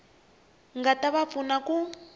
nga ta va pfuna ku